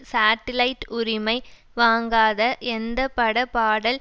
satellite உரிமை வாங்காத எந்த பட பாடல்